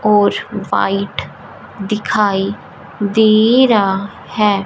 और व्हाइट दिखाई दे रहा है।